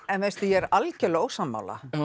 en veistu ég er algjörlega ósammála